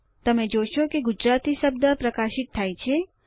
તમે જોશો કે ગુજરાતી શબ્દ પ્રકાશિત થાય છે